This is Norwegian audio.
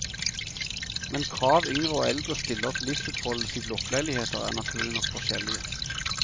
Men krav yngre og eldre stiller til livsutfoldelse i blokkleiligheter er naturlig nok forskjellige.